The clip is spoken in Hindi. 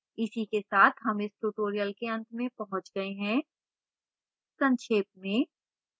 इसी के साथ हम इस tutorial के अंत में पहुँच गए है संक्षेप में